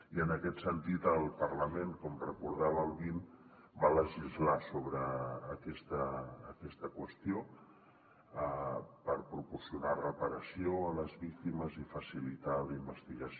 i en aquest sentit el parlament com recordava el dos mil vint va legislar sobre aquesta qüestió per proporcionar reparació a les víctimes i facilitar la investigació